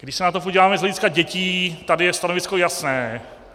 Když se na to podíváme z hlediska dětí, tady je stanovisko jasné.